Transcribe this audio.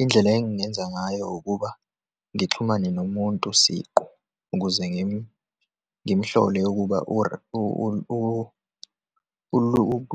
Indlela engingenza ngayo ukuba ngixhumane nomuntu siqu ukuze ngimhlole ukuba